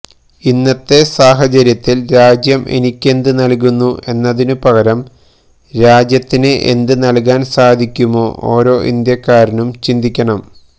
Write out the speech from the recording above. ഇന്നത്തെ സാഹചര്യത്തില് രാജ്യം എനിക്കെന്ത് നല്കുന്നു എന്നതിനുപകരം രാജ്യത്തിന് എന്ത് നല്കാന് സാധിക്കുമെന്ന് ഓരോ ഇന്ത്യക്കാരനും ചിന്തിക്കണം